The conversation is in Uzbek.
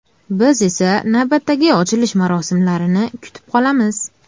Biz esa navbatdagi ochilish marosimlarini kutib qolamiz!